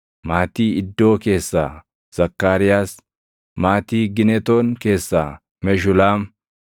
maatii Iddoo keessaa Zakkaariyaas; maatii Ginetoon keessaa Meshulaam;